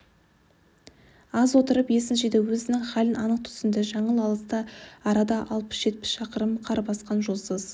аз отырып есін жиды өзінің халін анық түсінді жаңыл алыста арада алпыс-жетпіс шақырым қар басқан жолсыз